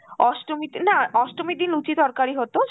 অষ্টমীতে না অষ্টমীর দিন লুচি তরকারি হত,